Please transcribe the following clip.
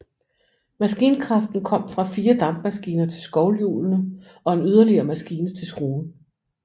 Maskinkraften kom fra fire dampmaskiner til skovlhjulene og en yderligere maskine til skruen